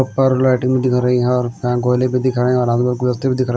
उपर लाइटिंग दिख रही है और बैंक वाले भी दिख रहे है और हाथ में गुलदस्ते भी दिख र--